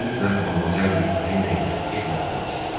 Siz mütləq Modmazel Viktorina ilə evlənməlisiz.